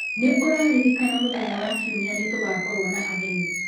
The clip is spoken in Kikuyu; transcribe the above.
Nĩ ũraririkana mũthenya wa kiumia nĩ tũkoragwo na ageni?